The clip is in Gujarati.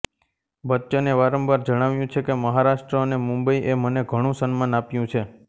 બચ્ચને વારંવાર જણાવ્યું છે કે મહારાષ્ટ્ર અને મુંબઈએ મને ઘણું સન્માન આપ્યું છે